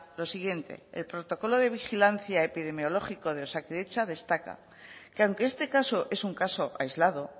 lo siguiente el protocolo de vigilancia epidemiológico de osakidetza destaca que aunque este caso es un caso aislado